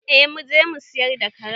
Eh muje mu siyar da karen.